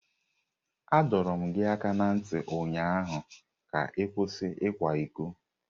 Adọrum gi aka na nti ụnyaahụ ka ị kwụsị ịkwa iko!